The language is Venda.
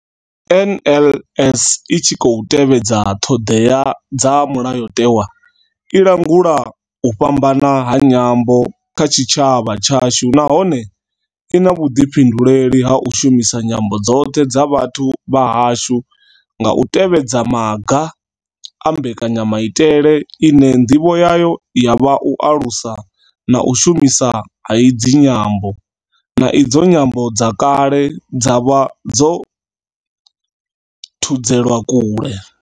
NLS I tshi khou tevhedza ṱhodea dza mulayotewa, i langula u fhambana ha nyambo kha tshitshavha tshashu nahone I na vhuḓifhinduleli ha u shumisa nyambo dzoṱhe dza vhathu vha hashu nga u tevhedza maga a mbekanyamaitele ine ndivho yayo ya vha u alusa u shumiswa ha idzi nyambo, na idzo nyambo dze kale dza vha dzo thudzelwa kule.